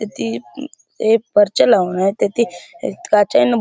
ते परच्या लावून आहेत तेथ काचायन --